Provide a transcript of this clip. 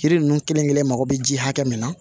Yiri ninnu kelen kelen mago bɛ ji hakɛ min na